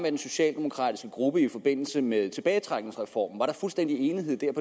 i den socialdemokratiske gruppe i forbindelse med tilbagetrækningsreformen var der fuldstændig enighed i